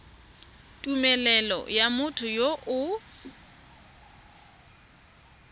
tumelelo ya motho yo o